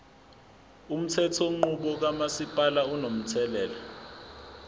umthethonqubo kamasipala unomthelela